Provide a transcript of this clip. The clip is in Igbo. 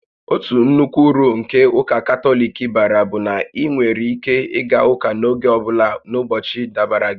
Otu nnukwu uru nke ụka Katọlik bara bụ na ị nwere ike ịga ụka n'oge ọ bụla n'ụbọchị dabara gị